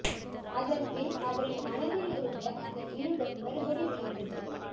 அதன் பின் அவரின் மனதில் இருந்த அந்த மிருகம் மறுபடி விழித்தது